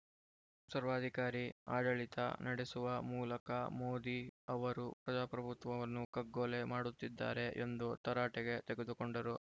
ಸರ್ವಾಧಿಕಾರಿ ಆಡಳಿತ ನ‌ಡೆಸುವ ಮೂಲಕ ಮೋದಿ ಅವರು ಪ್ರಜಾಪ್ರಭುತ್ವವನ್ನು ಕಗ್ಗೊಲೆ ಮಾಡುತ್ತಿದ್ದಾರೆ ಎಂದು ತರಾಟೆಗೆ ತೆಗೆದುಕೊಂಡರು